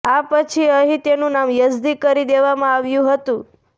આ પછી અહીં તેનું નામ યઝદી કરી દેવામાં આવ્યું હતું